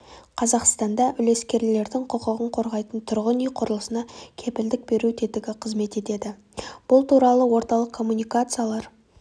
қазақстанда үлескерлердің құқығын қорғайтын тұрғын үй құрылысына кепілдік беру тетігі қызмет етеді бұл туралы орталық коммуникациялар